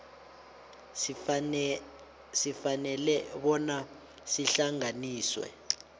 sifanele bona sihlanganiswe